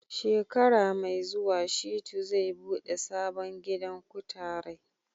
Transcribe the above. Shekara mai zuwa Shitu zai buɗe sabon gidan kutarai.